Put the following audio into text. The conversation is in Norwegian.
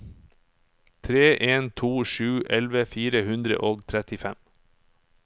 tre en to sju elleve fire hundre og trettifem